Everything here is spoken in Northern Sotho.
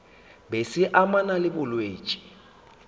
be se amana le bolwetši